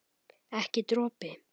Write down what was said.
Ekki dropi.